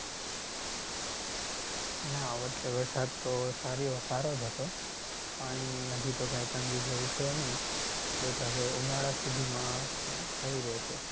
ના આ વર્ષે વરસાદ તો સારો સારો જ હતો. પાણીની હજી તો કઈ તંગી જેવું છે નઈ but હવે ઉનાળા સુધીમાં થઇ રહશે.